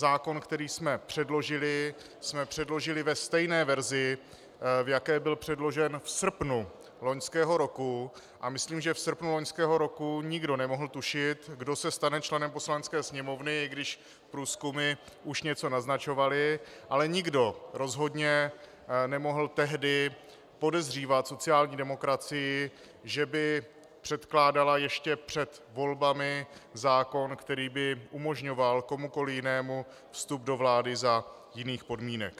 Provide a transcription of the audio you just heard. Zákon, který jsme předložili, jsme předložili ve stejné verzi, v jaké byl předložen v srpnu loňského roku, a myslím, že v srpnu loňského roku nikdo nemohl tušit, kdo se stane členem Poslanecké sněmovny, i když průzkumy už něco naznačovaly, ale nikdo rozhodně nemohl tehdy podezřívat sociální demokracii, že by předkládala ještě před volbami zákon, který by umožňoval komukoliv jinému vstup do vlády za jiných podmínek.